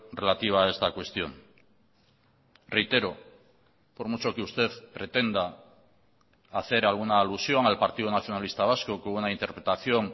relativa a esta cuestión reitero por mucho que usted pretenda hacer alguna alusión al partido nacionalista vasco con una interpretación